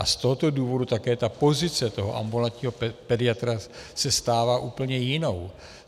A z tohoto důvodu také ta pozice toho ambulantního pediatra se stává úplně jinou.